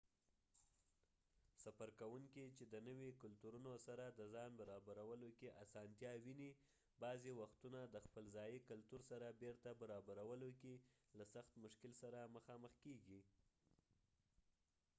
سفر کوونکي چې د نوي کلتورونو سره د ځان برابرولو کې آسانتیا ویني بعضې وختونه د خپل ځایي کلتور سره بیرته برابرولو کې له سخت مشکل سره مخامخ کیږي